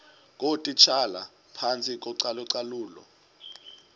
ngootitshala phantsi kocalucalulo